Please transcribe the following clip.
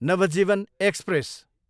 Navjeevan express